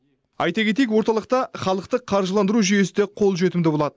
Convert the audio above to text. айта кетейік орталықта халықтық қаржыландыру жүйесі де қолжетімді болады